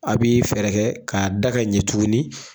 A b'i fɛɛrɛ kaa da ka ɲɛ tugunni.